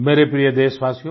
मेरे प्रिय देशवासियो